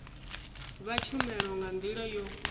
vha tshumelo nga ndila yo